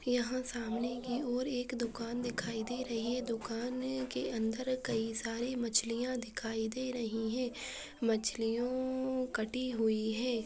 यहाँ सामने की ओर एक दुकान दिखाई दे रही है दुकान के अंदर कई सारी मछलियां दिखाई दे रही है मछलियों कटी हुई है।